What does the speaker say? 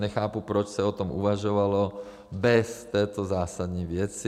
Nechápu, proč se o tom uvažovalo bez této zásadní věci.